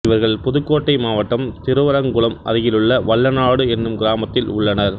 இவர்கள் புதுக்கோட்டை மாவட்டம் திருவரங்குளம் அருகிலுள்ள வல்லநாடு என்னும் கிராமத்தில் உள்ளனர்